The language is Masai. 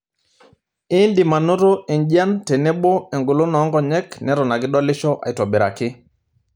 Indim anoto enjian tenebo engolon oonkonyek neton ake idolisho aitobiraki.